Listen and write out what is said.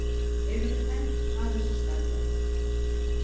Erum við enn aðeins að spjalla?